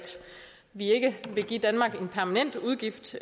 vi ikke vil give danmark en permanent udgift